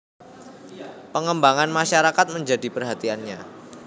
Pengembangan masyarakat menjadi perhatiannya